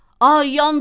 Ay, yandım!